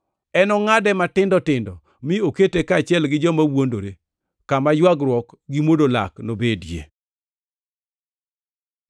Enongʼade matindo tindo mi okete kaachiel gi joma wuondore, kama ywagruok gi mwodo lak nobedie.